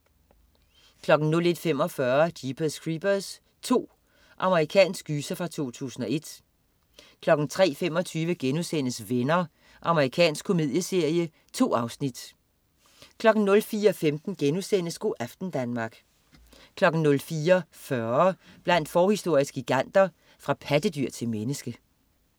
01.45 Jeepers Creepers 2. Amerikansk gyser fra 2001 03.25 Venner.* Amerikansk komedieserie. 2 afsnit 04.15 Go' aften Danmark* 04.40 Blandt forhistoriske giganter. Fra pattedyr til menneske